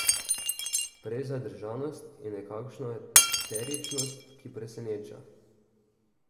Prej zadržanost in nekakšno eteričnost, ki preseneča.